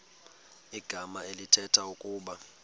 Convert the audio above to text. igama elithetha ukuba